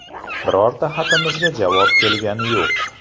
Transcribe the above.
Birorta xatimizga javob kelgani yo‘q.